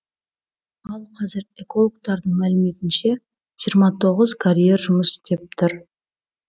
ал қазір экологтардың мәліметінше жиырма тоғыз карьер жұмыс істеп тұр